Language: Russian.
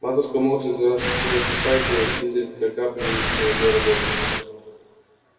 матушка молча вязала шерстяную фуфайку и слезы изредка капали на её работу